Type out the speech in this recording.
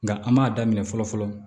Nka an m'a daminɛ fɔlɔ fɔlɔ